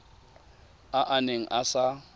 a a neng a sa